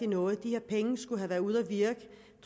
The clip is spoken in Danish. noget de her penge skulle have været sendt ud og virke